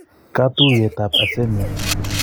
Katuyet ab Azamia